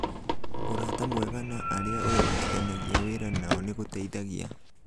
Ũrata mwega na arĩa ũrutithanagia wĩra nao nĩ gũteithagia